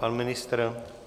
Pan ministr?